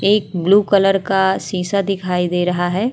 एक blue colour का शीशा दिखाई दे रहा है।